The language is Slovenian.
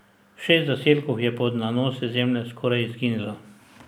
Šest zaselkov je pod nanosi zemlje skoraj izginilo.